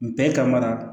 Bɛɛ kama